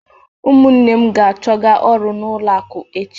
Ụmụnne m ga-achọga ọrụ n'ụlọ akụ echi.